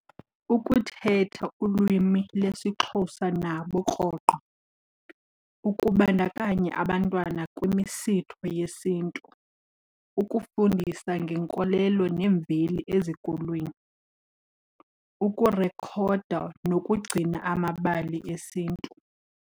Ukuthetha ulwimi lesiXhosa nabo rhoqo, ukubandakanya abantwana kwimisitho yesiNtu, ukufundisa ngenkolelo nemveli ezikolweni, ukurekhoda nokugcina amabali esiNtu.